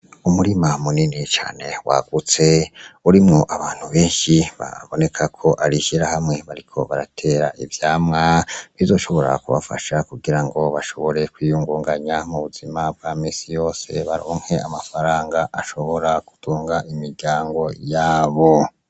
Umurima munini cane waguste, urimwo abantu benshi, baboneka ko ari ishirahamwe, bariko baratera ivyamwa bizoshobora kubafasha kugira ngo bashobore kwiyungunganya mu buzima bwa minsi yose, baronke amafaranga ashobora gutunga imiryango yabo.